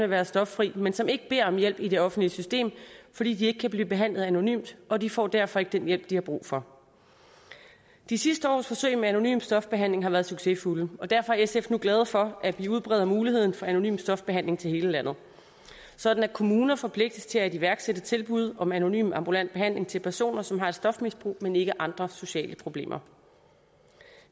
være stoffri men som ikke beder om hjælp i det offentlige system fordi de ikke kan blive behandlet anonymt og de får derfor ikke den hjælp de har brug for de sidste års forsøg med anonym stofbehandling har været succesfulde og derfor er sf nu glade for at vi udbreder muligheden for anonym stofbehandling til hele landet sådan at kommuner forpligtes til at iværksætte tilbud om anonym ambulant behandling til personer som har et stofmisbrug men ikke andre sociale problemer